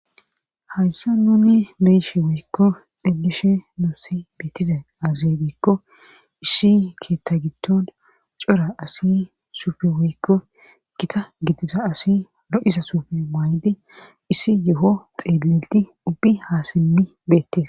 Hayssa nuni meeshi woykko xillishe nuussi biitize azebikko issi keetta gitton cora asi suufi woykko gita gitiza asi lo7isa suufi maay7di issi yo7o xeelilti ubbi haasimmi beettes.